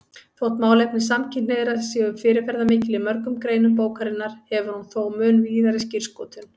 Þótt málefni samkynhneigðra séu fyrirferðarmikil í mörgum greinum bókarinnar hefur hún þó mun víðari skírskotun.